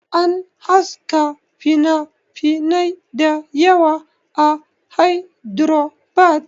An haska finafinai dayawa a Hydrabad